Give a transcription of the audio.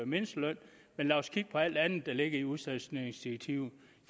mindsteløn men lad os kigge på alt det andet der ligger i udstationeringsdirektivet